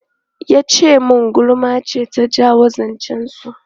Ya ce min gulma ce ta jawo zancen su.